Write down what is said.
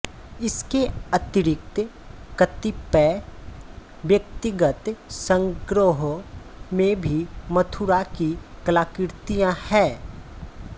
इसके अतिरिक्त कतिपय व्यक्तिगत संग्रहों में भी मथुरा की कलाकृतियाँ हैं